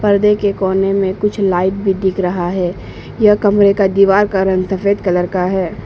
पर्दे के कोने में कुछ लाईट भी दिख रहा है यह कमरे का दीवार का रंग सफेद कलर का है।